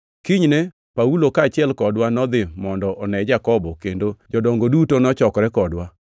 Kinyne Paulo kaachiel kodwa nodhi mondo one Jakobo kendo jodongo duto nochokore kodwa.